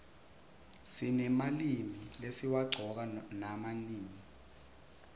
sinemalimi lesiwaqcoka nama nini